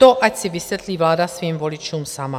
To ať si vysvětlí vláda svým voličům sama.